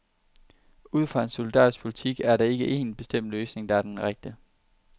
Ud fra en solidarisk politik er der ikke en bestemt løsning, der er den rette.